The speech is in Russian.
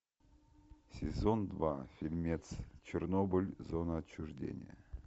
сезон два фильмец чернобыль зона отчуждения